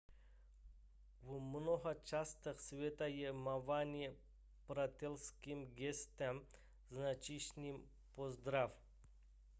v mnoha částech světa je mávání přátelským gestem značícím pozdrav